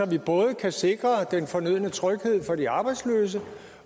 vi både kan sikre den fornødne tryghed for de arbejdsløse